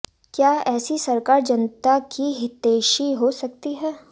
क्या ऐसी सरकार जनता की हितैषी हो सकती है